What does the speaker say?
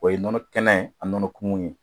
O ye nɔnɔ kɛnɛ ye ani nɔnɔ kumu ye